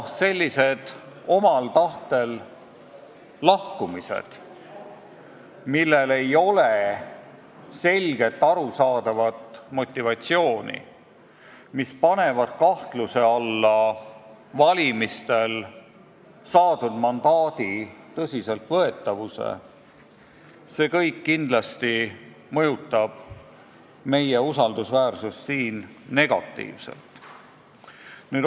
Sellised omal tahtel lahkumised, millel ei ole selgelt arusaadavat motivatsiooni, panevad kahtluse alla valimistel saadud mandaadi tõsiseltvõetavuse ja see kindlasti vähendab meie usaldusväärsust.